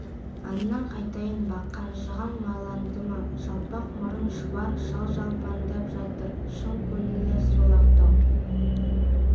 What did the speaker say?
аңнан қайттың ба қанжығаң майланды ма жалпақ мұрын шұбар шал жалпаңдап жатыр шын көңілі сол-ақ тау